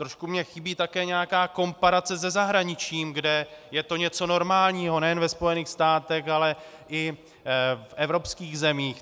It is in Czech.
Trošku mi chybí také nějaká komparace se zahraničím, kde je to něco normálního, nejen ve Spojených státech, ale i v evropských zemích.